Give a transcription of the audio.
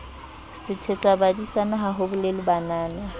sethetsabadisana ha ho bolelwa banana